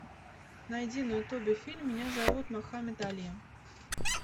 найди на ютубе фильм меня зовут мохаммед али